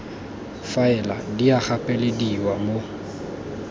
faela di a gapelediwa mo